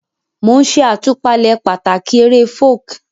Mo n ṣe àtúpalẹ̀ pàtàkì ti eré Folk